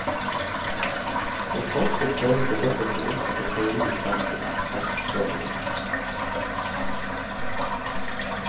Som forsker føles det godt å kunne omsette teori i praksis, fastslår hun.